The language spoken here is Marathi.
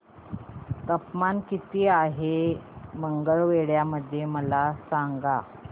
तापमान किती आहे मंगळवेढा मध्ये मला सांगा